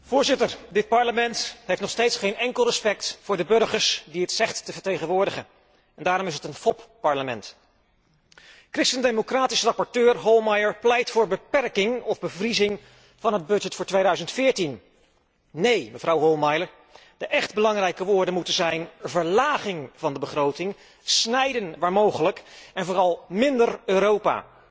Voorzitter, dit Parlement heeft nog steeds geen enkel respect voor de burgers die het zegt te vertegenwoordigen. En daarom is het een fopparlement. Christen democratisch rapporteur Hohlmeier pleit voor beperking of bevriezing van het budget voor 2014. Neen, mevrouw Hohlmeier, de echt belangrijke woorden moeten zijn verlaging van de begroting, snijden waar mogelijk, en vooral minder Europa.